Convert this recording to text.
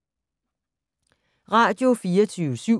Radio24syv